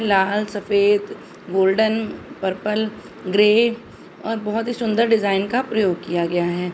लाल सफेद golden purple grey और बहुत ही सुंदर डिज़ाइन का प्रयोग किया गया है।